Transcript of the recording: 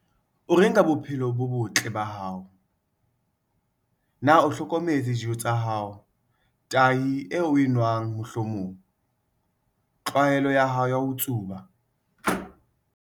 O reng ka bophelo bo botle, health, ba hao? Na o hlokometse dijo tsa hao, tahi eo o e nwang mohlomong? Tlwaelo ya hao ya ho tsuba?